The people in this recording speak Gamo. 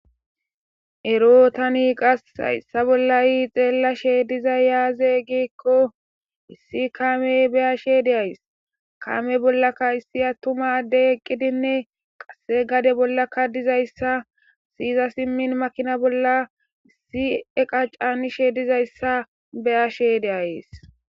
ero tani qas hayssa bollayi xeellashe dizay yaazey gikko issi kaamey beyashe de ays kame bollaka issi attumadde eqqidinne qasse gade bollakka dizayssa siyiza simmin makina bolla issi eqa canishe dizayssa beyashe deayys